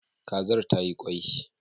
Kazar tayi kwai